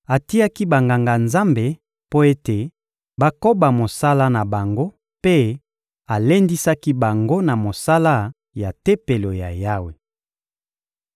Atiaki Banganga-Nzambe mpo ete bakoba mosala na bango mpe alendisaki bango na mosala ya Tempelo ya Yawe.